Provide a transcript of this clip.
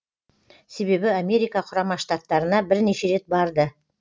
себебі америка құрама штаттарына бірнеше рет барды